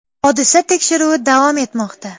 Hodisa tekshiruvi davom etmoqda.